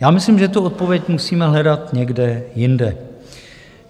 Já myslím, že tu odpověď musíme hledat někde jinde.